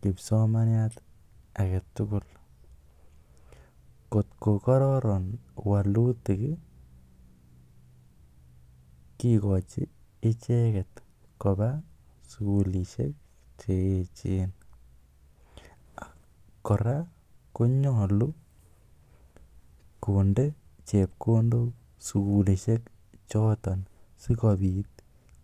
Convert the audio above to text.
kipsomaniat age tugul. Kotko kororon wolutik kigochi icheget koba sugulishek che eechen. Kora konyolu konde chepkondok sugulishek choto sikobit